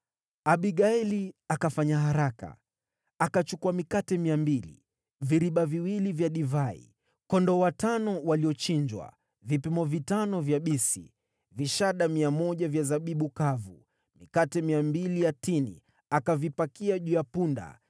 Abigaili akafanya haraka, akachukua mikate mia mbili, viriba viwili vya divai, kondoo watano waliochinjwa vipimo vitano vya bisi, vishada mia moja vya zabibu kavu, mikate mia mbili ya tini, akavipakia juu ya punda.